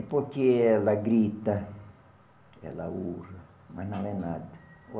É porque ela grita, ela urra, mas não é nada.